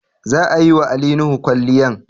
Za a yi wa Ali Nuhu kwalliay